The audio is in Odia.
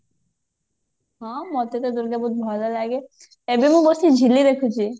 ହଁ ମୋତେ ତ ଦୂର୍ଗା ବହୁତ ଭଲ ଲାଗେ ଏବେ ମୁଁ ବସିକି ଝିଲି ଦେଖୁଛି